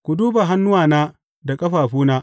Ku duba hannuwana da ƙafafuna.